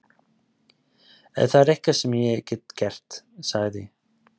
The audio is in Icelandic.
Ef það er eitthvað sem ég get gert- sagði